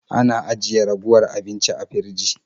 Ana ajiye ragowar abinci a firji.